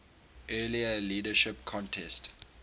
earlier leadership contest